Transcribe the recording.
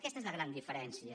aquesta és la gran diferència